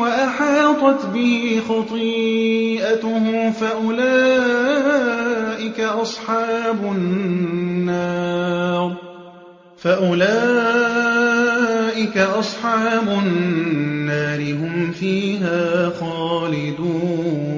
وَأَحَاطَتْ بِهِ خَطِيئَتُهُ فَأُولَٰئِكَ أَصْحَابُ النَّارِ ۖ هُمْ فِيهَا خَالِدُونَ